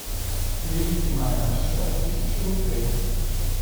переведи маме на счет тысячу рублей